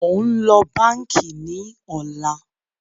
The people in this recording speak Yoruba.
Mo ń lọ báńkì ní ọ̀la